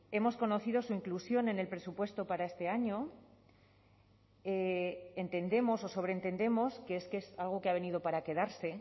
hemos conocido su inclusión en el presupuesto para este año entendemos o sobreentendemos que es que es algo que ha venido para quedarse